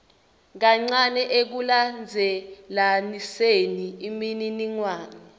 kancane ekulandzelaniseni imininingwane